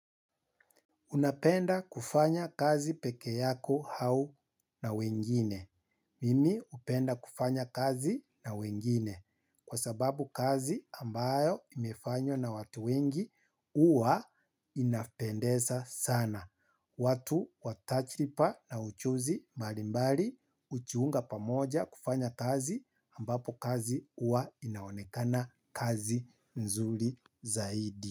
Unapenda kufanya kazi peke yako au na wengine. Mimi upenda kufanya kazi na wengine. Kwa sababu kazi ambayo imefanywa na watu wengi huwa inapendeza sana. Watu wa tajirba na ujuzi mbalimbali hujiunga pamoja kufanya kazi ambapo kazi huwa inaonekana kazi nzuri zaidi.